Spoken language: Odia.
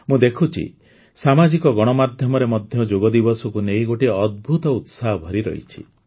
ମୁଁ ଦେଖୁଛି ସାମାଜିକ ଗଣମାଧ୍ୟମରେ ମଧ୍ୟ ଯୋଗଦିବସକୁ ନେଇ ଗୋଟିଏ ଅଦ୍ଭୁତ ଉତ୍ସାହ ଭରି ରହିଛି